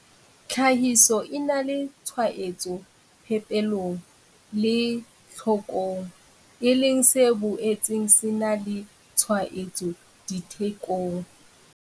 Tlhahiso e na le tshwaetso phepelong le tlhokong, e leng se boetseng se na le tshwaetso dithekong.